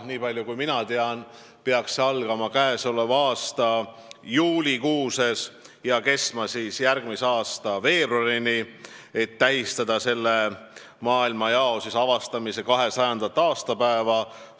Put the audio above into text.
Niipalju kui mina tean, peaks see algama käesoleva aasta juulikuus ja kestma järgmise aasta veebruarini, et tähistada sellesse maailmajakku jõudmise 200. aastapäeva.